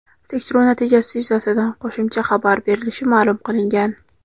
Tekshiruv natijasi yuzasidan qo‘shimcha xabar berilishi ma’lum qilingan.